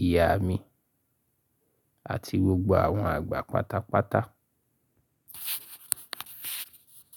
ìyá mi àti gbogbo àwọn àgbà pátápátá.